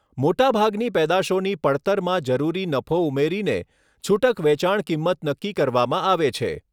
મોટા ભાગની પેદાશોની પડતરમાં જરૂરી નફો ઉમેરીને છૂટક વેચાણ કિંમત નક્કી કરવામાં આવે છે.